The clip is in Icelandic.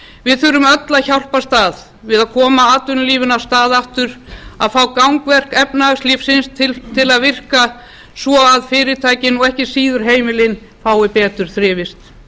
við þurfum öll að hjálpast að við að koma atvinnulífinu af stað aftur að fá gangverk efnahagslífsins til að virka svo fyrirtækin og ekki síður heimilin fái betur þrifist